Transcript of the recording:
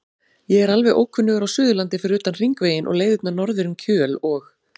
Ég er alveg ókunnugur á Suðurlandi fyrir utan Hringveginn og leiðirnar norður um Kjöl og